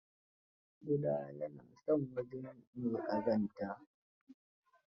Ƙuda ya na son wajen mai ƙazanta.